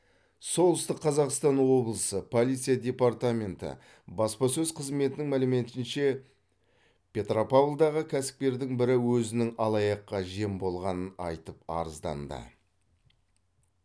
солтүстік қазақстан облысы полиция департаменті баспасөз қызметінің мәліметінше петропавлдағы кәсіпкердің бірі өзінің алаяққа жем болғанын айтып арызданды